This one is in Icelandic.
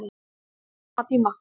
Á sama tíma